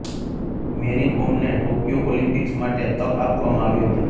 મેરી કોમને Tokyo Olympics માટે તક આપવામાં આવી હતી